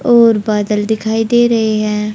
और बादल दिखाई दे रहे हैं।